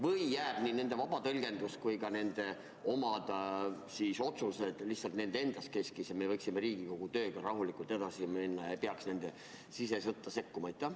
Või peaks nii nende vaba tõlgendus kui ka nende oma otsused lihtsalt nende endi keskele jääma ja meie võiksime Riigikogu tööga rahulikult edasi minna ega peaks nende sisesõtta sekkuma?